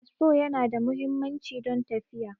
Fasfo Yana da muhimmanci don tafiya